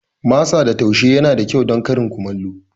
Masa da taushe yana da kyau don karin kumallo.